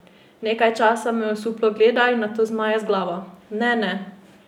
Nekaj časa me osuplo gleda in nato zmaje z glavo: "Ne, ne.